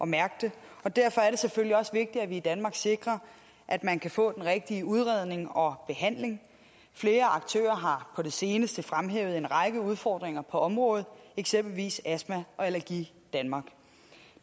mærke det og derfor er det selvfølgelig også vigtigt at vi i danmark sikrer at man kan få den rigtige udredning og behandling flere aktører har på det seneste fremhævet en række udfordringer på området eksempelvis astma allergi danmark